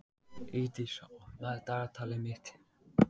Ísdís, opnaðu dagatalið mitt.